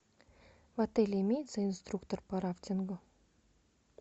в отеле имеется инструктор по рафтингу